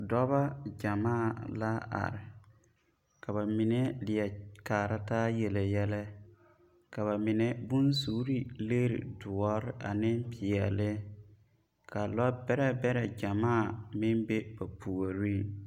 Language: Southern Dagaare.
Dɔbɔ gyɛmaa la are ka bamine leɛ kaara taa yele yɛlɛ ka bamine bonsuuri legri doɔre ane peɛlli ka lɔ bɛrɛ bɛrɛ gyɛmaa meŋ be ba puoreŋ.